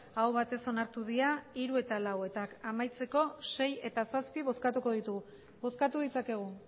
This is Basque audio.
aho batez onartu dira hiru eta lau eta amaitzeko sei eta zazpi bozkatuko ditugu bozkatu ditzakegu